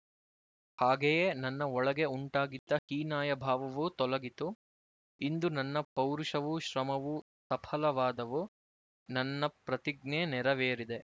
ಹಾಗೆಯೇ ನನ್ನ ಒಳಗೆ ಉಂಟಾಗಿದ್ದ ಹೀನಾಯ ಭಾವವೂ ತೊಲಗಿತು ಇಂದು ನನ್ನ ಪೌರುಷವೂ ಶ್ರಮವೂ ಸಫಲವಾದವು ನನ್ನ ಪ್ರತಿಜ್ಞೆ ನೆರವೇರಿದೆ